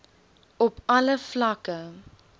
op alle vlakke